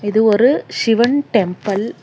இது ஒரு சிவன் டெம்பள் .